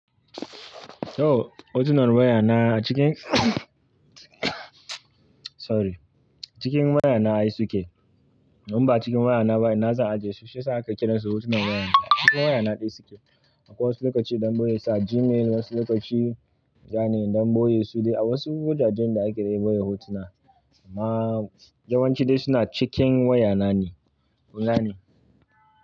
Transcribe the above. To hotunan wayana cikin sorry, cikin wayana ai suke. In ba cikin wayana ba ina zan ajiye su? Shi yasa ake kiransu hotunan wayana. Cikin wayana dai suke. Akwai wasu lokaci da na boye su a Gmail, wasu lokaci zani don boye su dai a wasu wajajen da ake boye hotuna. Amma yawanci dai suna cikin wayana ne. Kun gane?